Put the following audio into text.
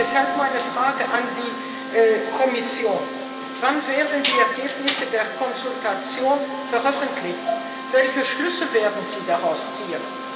Deshalb meine Frage an die Kommission Wann werden die Ergebnisse der Konsultation veröffentlicht? Welche Schlüsse werden Sie daraus ziehen?